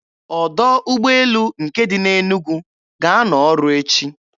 Ọdọ ụgbọelu nke dị na Enugu ga-anọ ọrụ echi.